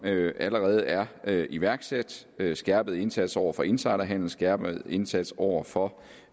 allerede er er iværksat skærpet indsats over for insiderhandel skærpet indsats over for